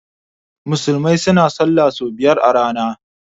Musulmai suna sallah so biyar a rana.